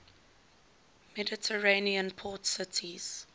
mediterranean port cities